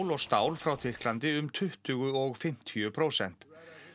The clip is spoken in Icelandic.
og stál frá Tyrklandi um tuttugu og fimmtíu prósent